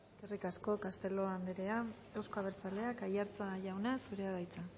eskerrik asko castelo anderea euzko abertzaleak aiartza jauna zurea da hitza